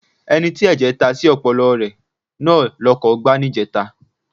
Ẹni tí ẹ̀jẹ̀ ta sí ọpọlọ rẹ ló lọkọ̀ gbá níjẹta.